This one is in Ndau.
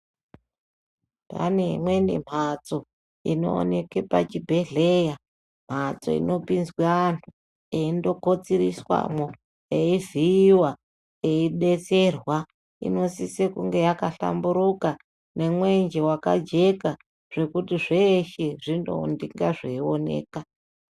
Pane imweni mhatso inoonekwe pachibhehleya ,mhatso inopinzwe anhu eindokotsiriswamwo eivhiiwa eidetserwa inosise kunge yakahlamburuka nemwenje wakajeka zvekuti zveshe zvinonga zveioneka.